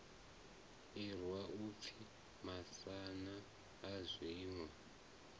irwa u pfi masana saizwi